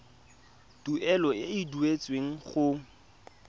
tuelo e e duetsweng go